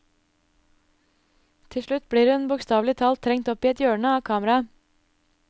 Til slutt blir hun bokstavelig talt trengt opp i et hjørne av kameraet.